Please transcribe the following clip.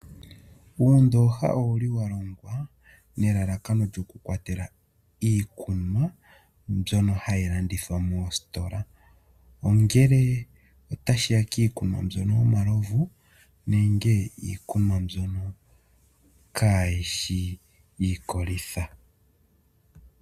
Uundooha owa longwa nelalakano lyo ku kwatela iikunwa mbyono ha yi landithwa moositola. Muundooha oha mu tu lwa Iikunwa iikwamalovu nenge mbyoka kaayishi iikolitha.